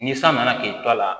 Ni san nana k'i to a la